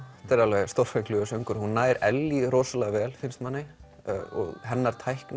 þetta er stórfenglegur söngur hún nær Ellý rosalega vel finnst manni og hennar tækni